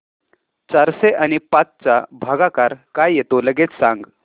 चारशे आणि पाच चा भागाकार काय येतो लगेच सांग